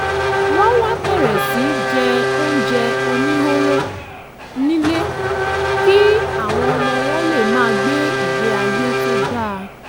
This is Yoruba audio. wọ́n wá bẹ̀rẹ̀ sí í jẹ oúnjẹ oníhóró nílé kí àwọn ọmọ wọn lè máa gbé ìgbé ayé tó dáa